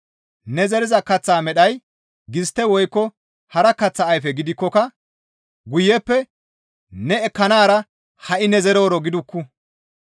Neni zeriza kaththa modheya gistte woykko hara kaththa ayfe gidikkoka guyeppe ne ekkanaara ha7i ne zerooro gidukku.